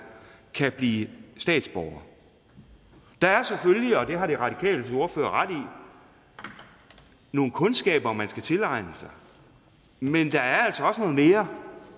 kan blive statsborger der er selvfølgelig og det har de radikales ordfører ret i nogle kundskaber man skal tilegne sig men der er altså også noget mere